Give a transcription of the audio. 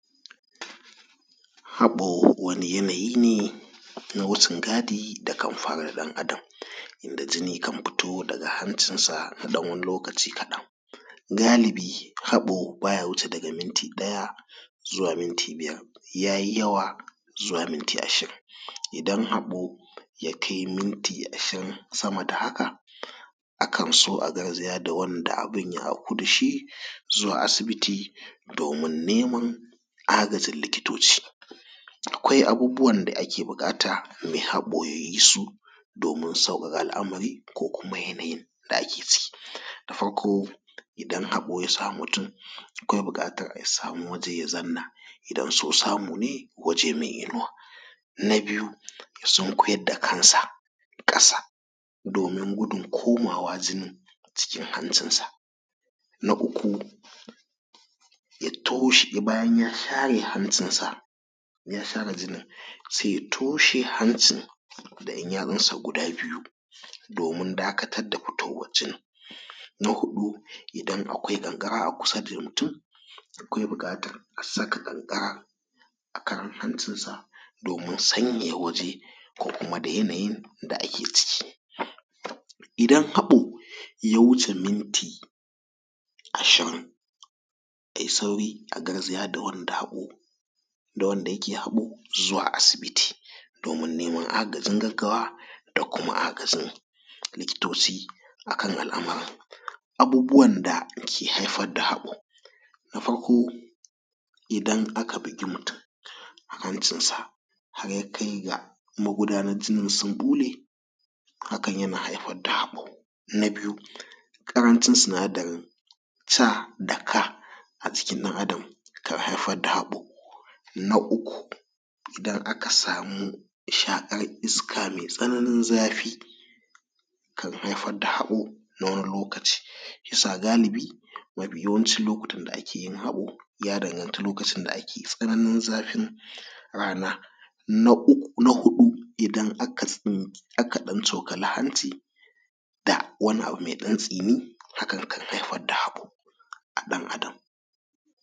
Haɓo wani yanayi ne na wucin gadi da kam faru da dan’adam, inda jini kan fito daga hancin sa na dan wani lokaci kaɗan. Galibi haɓo baya wuce daga miti daya zuwa minti biyar, ya yi yawa zuwa minti ashirin, idan haɓo ya kai minti ashirin sama da haka akan so a garzaya ga wanda abun ya auku da shi zuwa asibiti domin neman agajin likitoci. Akwai abubuwan da ake buƙata mai haɓo ya yi su domin sauƙaƙa alamari ko kuma yanayin da ake ciki. Na Farko idan haɓo ya samu mutum akwai buƙatar ya samu waje ya zanna idan so samu ne waje mai inuwa. Na biyu ya sunkuyar da kansa ƙasa domin gudun komawa jini cikin hancin sa. Na uku ya toshe bayan ya share hancin sa, ya share jinin, sai ya toshe hancin da 'yan yatsunsa guda biyu domin dakatar da fitowan jinin. Na huɗu idan akwai kankara a kusa da mutum akwai bukatar a saka kankara a kan hancin sa domin sanyaya waje ko kuma da yanayin da ake ciki. Idan haɓo ya wuce minti ashirin a yi sauri a garzaya da wanda haɓo da wanda yake haɓo zuwa asibiti domin neman agajin gaggawa da kuma agajin likitoci akan al'amuran. Abubuwan da ke haifar da haɓo. Na Farko idan aka bugi mutum a hancin sa har ya kai ga magudanar jini sun ɓule hakan yana haifar da haɓo. Na biyu ƙarancin sinadarin C da K a jikin ɗan’adam kan haifar da haɓo. Na uku idan aka samu shaƙar iska mai tsananin zafi kan haifar da haɓo na wani lokaci shiyasa galibi mafi yawanci lokutan da ake yin haɓo ya danganci lokacin da ake tsananin zafin rana. Na uku na huɗu idan aka tsink aka dan tsokali hanci da wani abu mai ɗan tsini hakan kan haifar da haɓo a ɗan’adam.